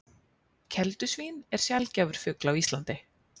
Keldusvín er sjaldgæfur fugl á Íslandi